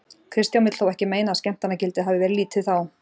Kristján vill þó ekki meina að skemmtanagildið hafið verið lítið þá.